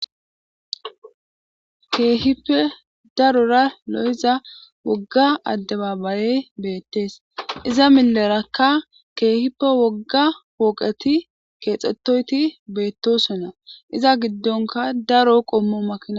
Keehippe darora woga adeba ayey beetes iza mileraka woga pooqeti keexetoyti beetosona iza gidonka daro qomo makina